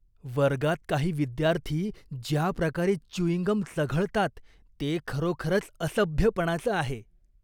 वर्गात काही विद्यार्थी ज्या प्रकारे च्युइंग गम चघळतात ते खरोखरच असभ्यपणाचं आहे.